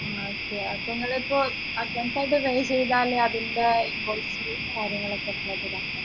okay അപ്പൊ നിങ്ങളിപ്പോ advance ആയിട്ട് pay ചെയ്താല് അതിന്റെ invoice ഉ കാര്യങ്ങള് ഒക്കെ എങ്ങനെയാ